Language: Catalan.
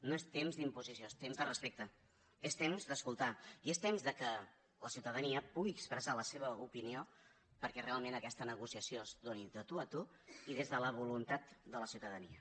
no és temps d’imposició és temps de respecte és temps d’escoltar i és temps que la ciutadania pugui expressar la seva opinió perquè realment aquesta negociació es doni de tu a tu i des de la voluntat de la ciutadania